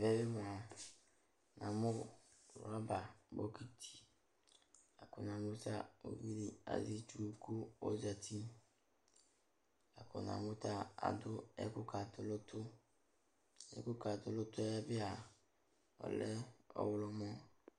Tɛ mʋa, namʋ rɔba bokiti la kʋ namʋ ta uvi dɩ azɛ itsu kʋ ɔzati la kʋ namʋ ta adʋ ɛkʋkatʋ nʋ ʋtʋ Ɛkʋkatʋ nʋ ʋtʋ yɛ bɩ a, ɔlɛ ɔɣlɔmɔ